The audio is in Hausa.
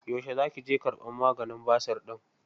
Yaushe za ki je ƙarbar maganin basir ɗin?